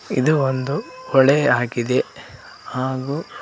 ಇದು ಒಂದು ಹೊಳೆ ಆಗಿದೆ ಹಾಗು--